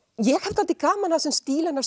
ég hef dálítið gaman af þessum stíl hennar